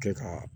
Kɛ ka